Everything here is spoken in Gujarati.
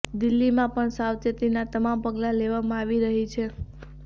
દિલ્હીમાં પણ સાવચેતીના તમામ પગલા લેવામાં આવી રહી છે